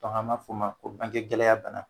Dɔnku ani b'a f'o ma ko bange gɛlɛya bana.